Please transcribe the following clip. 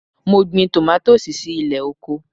Mo gbin tòmátòsì si ilẹ̀ oko.